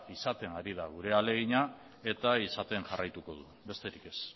izaten ari da gure ahalegina eta izaten jarraituko du besterik ez